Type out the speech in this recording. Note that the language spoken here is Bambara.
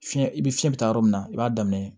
Fiɲɛ i bi fiɲɛ bɛ taa yɔrɔ min na i b'a daminɛ